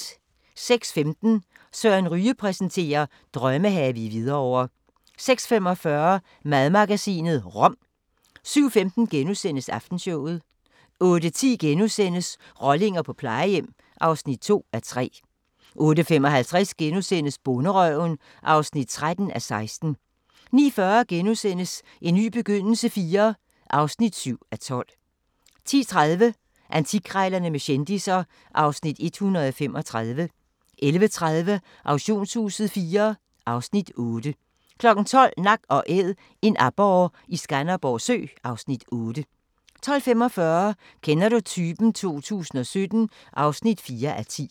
06:15: Søren Ryge præsenterer: Drømmehave i Hvidovre 06:45: Madmagasinet – rom 07:15: Aftenshowet * 08:10: Rollinger på plejehjem (2:3)* 08:55: Bonderøven (13:16)* 09:40: En ny begyndelse IV (7:12)* 10:30: Antikkrejlerne med kendisser (Afs. 135) 11:30: Auktionshuset IV (Afs. 8) 12:00: Nak & Æd – en aborre i Skanderborg Sø (Afs. 8) 12:45: Kender du typen? 2017 (4:10)